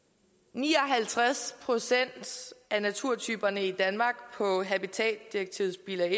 ni og halvtreds procent af naturtyperne i danmark på habitatdirektivets bilag